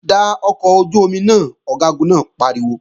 Da ọkọ̀ ojú-omi náà! Ọ̀gágun náà pariwo